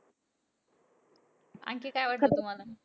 आणखी काय वाटतं तुम्हांला?